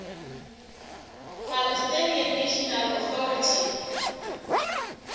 palestinian national authority